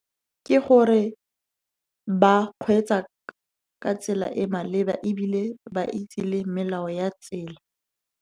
Ke gore ba kgweetsa ka tsela e maleba, ebile ba itse le melao ya tsela.